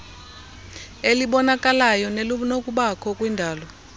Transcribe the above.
elibonakalayo nelinokubakho kwindalo